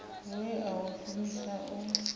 we a u shumisa u